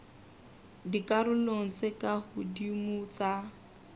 dikarolong tse ka hodimo tsa